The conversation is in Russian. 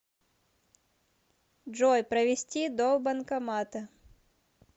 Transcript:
джой провести до банкомата